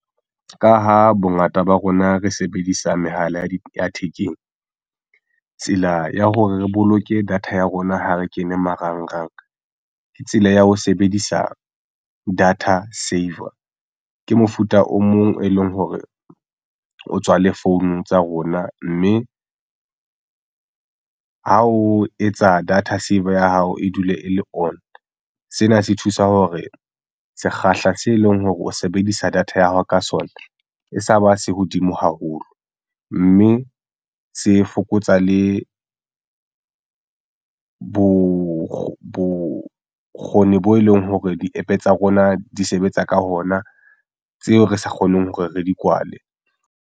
Ka ha bongata ba rona re sebedisa mehala ya thekeng tsela ya hore re boloke data ya rona ha re kene marangrang ke tsela ya ho sebedisa data saver ke mofuta o mong e leng hore o tswa le phone tsa rona mme ha o etsa data saver ya hao e dule e le on. Sena se thusa hore sekgahla se leng hore o sebedisa data ya hao ka sona e sa ba se hodimo haholo mme se fokotsa le bokgoni bo e leng hore di-APP tsa rona di sebetsa ka ona tseo re sa kgoneng hore re di kwale.